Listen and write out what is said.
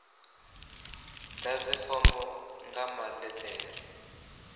ḓadze fomo nga maḽe ḓere